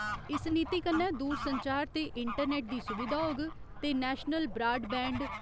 इस नीति कन्नै दूरसंचार ते इंटरनेट दी सुविधा होग ते नेशनल ब्राड बैंड